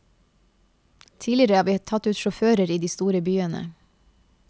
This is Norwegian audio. Tidligere har vi tatt ut sjåfører i de store byene.